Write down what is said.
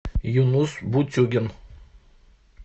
юнус бутюгин